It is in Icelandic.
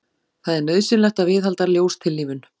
það er nauðsynlegt að viðhalda ljóstillífun